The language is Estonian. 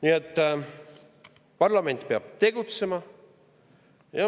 Nii et parlament peab tegutsema.